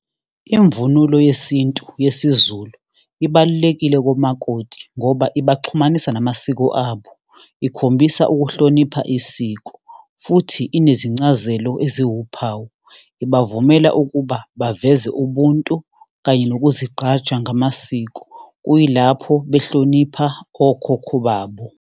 Imvunulo yesintu, yesiZulu, ibalulekile komakoti ngoba ibaxhumanisa namasiko abo. Ikhombisa ukuhlonipha isiko, futhi inezincazelo eziwuphawu. Ibavumela ukuba baveze ubuntu kanye nokuzigqaja ngamasiko, kuyilapho behlonipha okhokho babo.